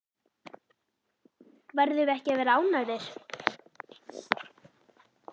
Verðum við ekki að vera ánægðir?